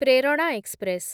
Prerana express